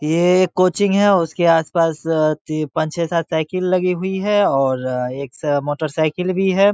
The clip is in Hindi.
ये एक कोचिंग है उसके आस-पास पांच छे सात साइकिल लगी हुई है और एक स मोटर साइकिल भी है।